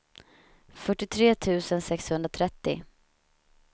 fyrtiotre tusen sexhundratrettio